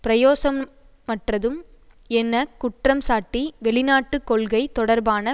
பிரயோசனமற்றதும் என குற்றம்சாட்டி வெளிநாட்டு கொள்கை தொடர்பான